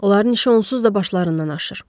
Onların işi onsuz da başlarından aşır.